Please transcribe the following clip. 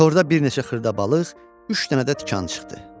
Torda bir neçə xırda balıq, üç dənə də tikan çıxdı.